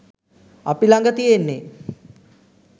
අපි ලඟ තියෙන්නේ